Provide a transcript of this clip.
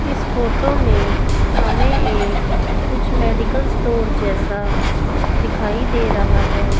इस फोटो में हमें एक कुछ मेडिकल स्टोर जैसा दिखाई दे रहा हैं।